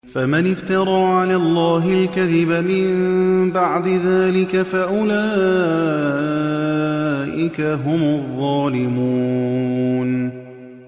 فَمَنِ افْتَرَىٰ عَلَى اللَّهِ الْكَذِبَ مِن بَعْدِ ذَٰلِكَ فَأُولَٰئِكَ هُمُ الظَّالِمُونَ